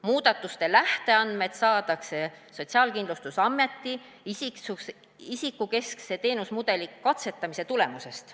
Muudatuste lähteandmed saadakse SKA isikukeskse teenusmudeli katsetamise tulemusest.